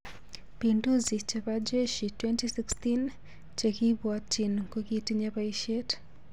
Pinduzi chepo jeshi 2016 chekipution kokitinye paishet